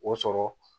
O sɔrɔ